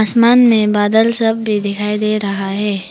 मान मे बादल सब भी दिखाई दे रहा हैं।